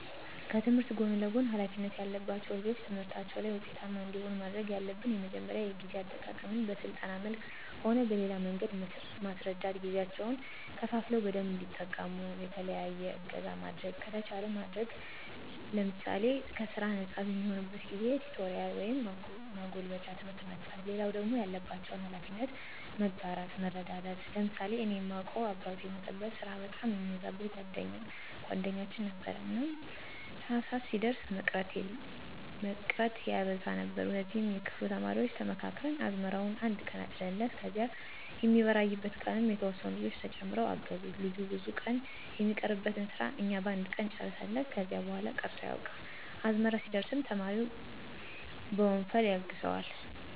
ከትምህርት ጎን ለጎን ሀላፊነት ያለባቸው ልጆች ትምህርታቸው ላይ ውጤታማ እንዲሆኑ ማድረግ ያለብን የመጀመሪያው የጊዜ አጠቃቀመን በስልጠና መልክም ሆነ በሌላ መንገድ መስረዳት ጊዜያቸውን ከፋፍለው በደንብ እንዲጠቀሙ፣ የተለየ እገዛ ማድረግ ከተቻለ ማድረግ ለምሳሌ ከስራ ነጻ በሚሆኑበት ጊዜ ቲቶሪያል ወይም ማጎልበቻ ትምህርት መስጠት። ሌላው ደግሞ ያለባቸውን ሀላፊነት መጋራት መረዳዳት። ለምሳሌ እኔ ማውቀው አባቱ የሞተበት ስራ በጣም የሚበዛበት ጓደኛችን ነበረ። እና ታህሳስ ሲደርስ መቅረት ያበዛ ነበር ከዚያ የክፍሉ ተማሪዎች ተመካክረን አዝመራውን አነድ ቀን አጨድንለት ከዚያ የሚበራይበት ቀንም የተወሰኑ ልጆች ተጨምረው አገዙት ልጁ ብዙ ቀን የሚቀርበትን ስራ እኛ በአንድ ቀን ጨረስንለት። ከዚያ በኋላ ቀርቶ አያውቅም። አዝመራ ሲደርስም ተማሪው በወንፈል ያግዘዋል።